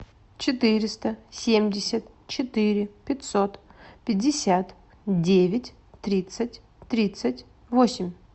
четыреста семьдесят четыре пятьсот пятьдесят девять тридцать тридцать восемь